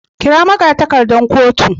kira magatakardar kotu.